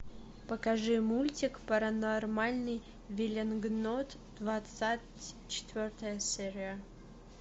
покажи мультик паранормальный веллингтон двадцать четвертая серия